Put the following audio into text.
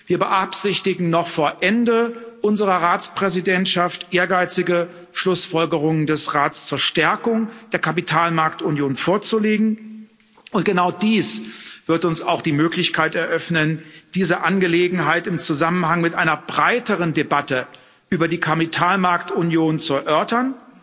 Wir beabsichtigen, noch vor Ende unserer Ratspräsidentschaft ehrgeizige Schlussfolgerungen des Rates zur Stärkung der Kapitalmarktunion vorzulegen, und genau dies wird uns auch die Möglichkeit eröffnen, diese Angelegenheit im Zusammenhang mit einer breiteren Debatte über die Kapitalmarktunion zu erörtern